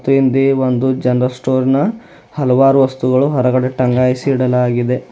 ತಿಂದಿ ಒಂದು general store ನ ಹಲವಾರು ವಸ್ತುಗಳನ್ನು ಹೊರಗಡೆ ಟಾಂಗಾಯಿಸಿ ಇಡಲಾಗಿದೆ.